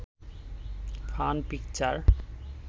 fun picture